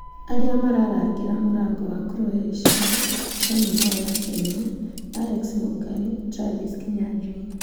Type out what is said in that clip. Arĩa mararangĩra mũrango wa Croatia: John mwaura (kenya), Alex Mungai, Travis Kinyanjui.